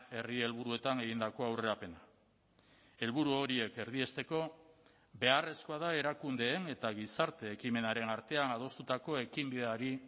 herri helburuetan egindako aurrerapena helburu horiek erdiesteko beharrezkoa da erakundeen eta gizarte ekimenaren artean adostutako ekinbideari